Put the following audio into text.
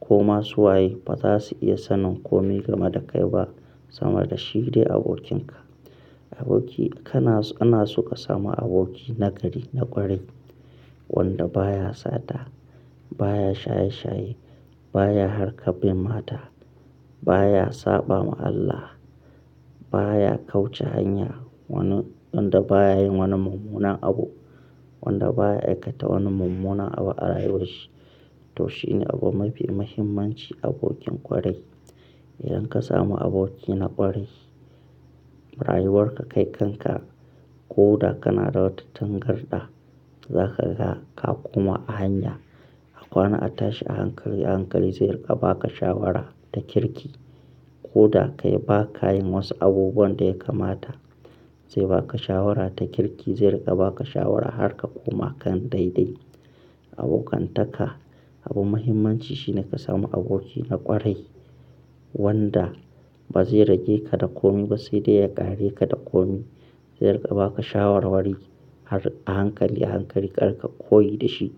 ko masu waye ba za su iya sanin kome game da kai ba sama da shi dai abokinka. Aboki kana-- ana suka samu aboki nagari na ƙwarai wanda baya sata, baya shaye shaye, baya harkar bin mata, baya saɓa ma Allah, baya kauce hanya wani wanda baya yin wani mummunan abu, wanda baya aikata wani mummunan abu a rayuwarshi to shine abu mafi muhimmanci abokin ƙwarai. Idan ka samu aboki na ƙwarai rayuwarka, kai kanka ko da kana da wata tangarɗa za ka ga ka koma a hanya a kwana, a tashi, a hankali, a hankali zai riƙa baka shawara ta kirki. Ko da kay ba ka yin wasu abubuwan da ya kamata zai baka shawara ta kirki zai riƙa baka shawara har ka koma kan daidai. Abokantaka abu muhimmanci shine ka samu aboki na ƙwarai wanda ba zai rage ka da kome ba sai dai ya kare ka da komi zai riƙa baka shawarwari har a hankali, a hankali kari ƙa koyi da shi.